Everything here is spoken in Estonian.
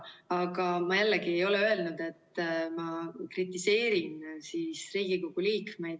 Aga ma jällegi ei ole öelnud, et ma kritiseerin Riigikogu liikmeid.